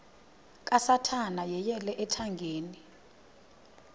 kasathana yeyele ethangeni